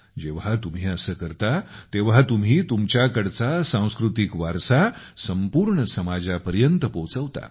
जेव्हा तुम्ही असे करता तेव्हा तुम्ही संपूर्ण तुमच्याकडचा सांस्कृतिक वारसा समाजापर्यंत पोहोचवता